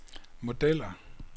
modeller